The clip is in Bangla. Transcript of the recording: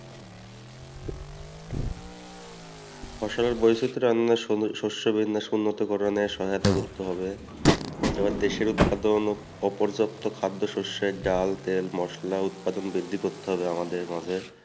ফসলের বৈচিত্র আমরা সহায়তা করতে হবে এবার দেশের উৎপাদন খাদ্যশস্যের ডাল তেল মসলা উৎপাদন বৃদ্ধি করতে হবে আমাদের